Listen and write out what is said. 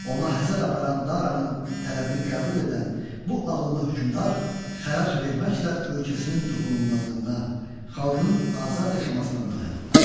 Ona həsəd aparan Daranın tələbini qəbul edən bu ağıllı hökmdar xərac verməklə ölkəsinin toxunulmazlığına, xalqının azad yaşamasına nail olur.